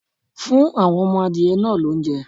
Fún àwọn ọmọ adìyẹ náà lóúnjẹ!